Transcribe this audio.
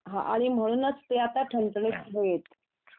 हं आणि म्हणूनच ते आता ठणठणीत आहेत